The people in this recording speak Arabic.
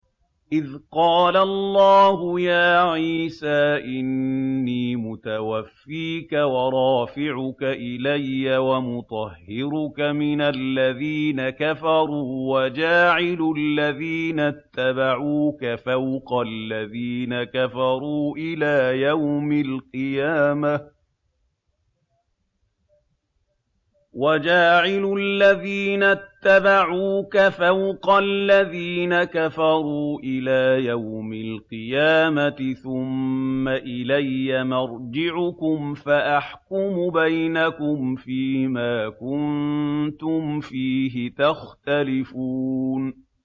إِذْ قَالَ اللَّهُ يَا عِيسَىٰ إِنِّي مُتَوَفِّيكَ وَرَافِعُكَ إِلَيَّ وَمُطَهِّرُكَ مِنَ الَّذِينَ كَفَرُوا وَجَاعِلُ الَّذِينَ اتَّبَعُوكَ فَوْقَ الَّذِينَ كَفَرُوا إِلَىٰ يَوْمِ الْقِيَامَةِ ۖ ثُمَّ إِلَيَّ مَرْجِعُكُمْ فَأَحْكُمُ بَيْنَكُمْ فِيمَا كُنتُمْ فِيهِ تَخْتَلِفُونَ